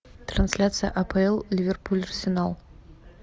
трансляция апл ливерпуль арсенал